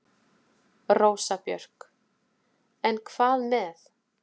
Rósa Björk: En hvað með.